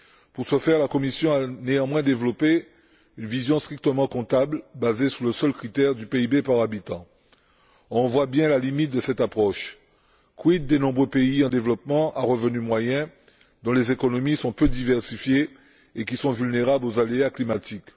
Pour ce faire, la Commission a néanmoins développé une vision strictement comptable basée sur le seul critère du PIB par habitant. On voit bien la limite de cette approche. Quid des nombreux pays en développement à revenus moyens dont les économies sont peu diversifiées et qui sont vulnérables aux aléas climatiques?